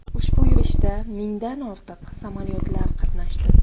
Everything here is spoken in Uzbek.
Ushbu yurishda mingdan ortiq samolyotlar qatnashdi.